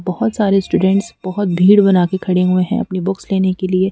बहुत सारे स्टूडेंट्स बहुत भीड़ बना के खड़े हुए हैं अपनी बुक्स लेने के लिए --